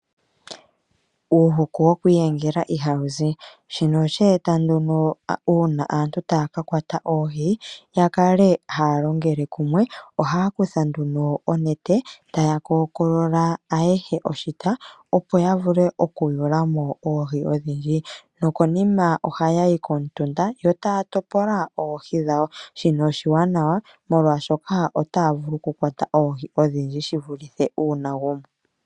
Uuhuku woku iyengela ihawu zi, shino oshe eta nduno uuna aantu taya ka kwata oohi ya kale haya longele kumwe. Ohaya kutha nduno onete taya kookolola ayehe oshita opo ya vule okuyula mo oohi odhindji nokonima ohaya yi komutunda yo taya topola oohi dhawo. Shino oshiwanawa molwaashoka otaya vulu okukwata oohi odhindji shivulithe uuna omuntu e li oye awike.